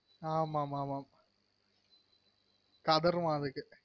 ஆமாமா கதறுவா அதுக்கு